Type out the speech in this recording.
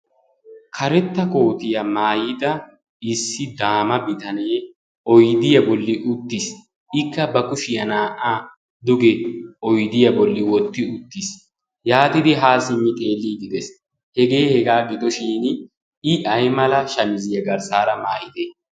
Karetta kootiyaa maayida issi daama bitanee oidiyaa bolli uttiis ikka ba kushiyaa naa''a duge oidiyaa bolli wotti uttiis yaatidi haa sinni xeellii didees hegee hegaa gidoshin i aimala shamizziyaa garssaara maayite?